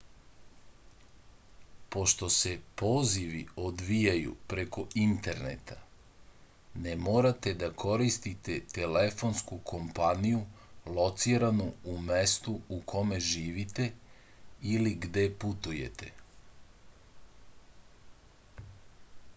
pošto se pozivi odvijaju preko interneta ne morate da koristite telefonsku kompaniju lociranu u mestu u kome živite ili gde putujete